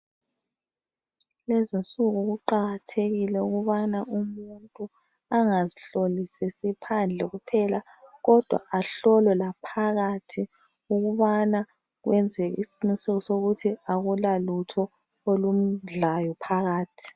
Lezinsuku kuqakathekile ukubana umuntu angazihlolisisi phandle kuphela kodwa ahlolwe laphakathi ukubana kwenzeke isiqiniseko sokuthi akulalutho olumdlayo phakathi